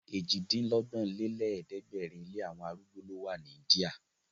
Èjì-dín-lọ́gbọ̀n lé lẹ̀ẹ́dẹ́gbẹ́rin ilé àwọn arúgbó ló wa ní India.